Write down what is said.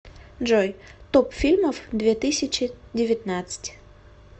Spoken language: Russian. джой топ фильмов две тысячи девятнадцать